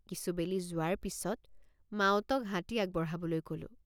কিছুবেলি যোৱাৰ পিচত মাউতক হাতী আগবঢ়াবলৈ কলোঁ।